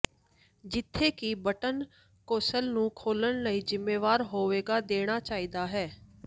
ਜਿੱਥੇ ਕਿ button console ਨੂੰ ਖੋਲ੍ਹਣ ਲਈ ਜ਼ਿੰਮੇਵਾਰ ਹੋਵੇਗਾ ਦੇਣਾ ਚਾਹੀਦਾ ਹੈ